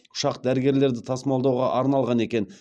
ұшақ дәрігерлерді тасымалдауға арналған екен